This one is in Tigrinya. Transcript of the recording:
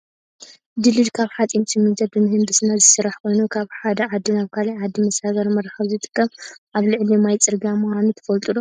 ድልድል ካብ ሓፂንን ስሚንቶን ብምህንድስና ዝስራሕ ኮይኑ፣ ካብ ሓደ ዓዲ ናብ ካልእ ዓዲ መሰጋገሪ መራከቢ ዝጠቅም ኣብ ልዕሊ ማይ ፅርግያ ምኳኑ ትፈልጡ ዶ?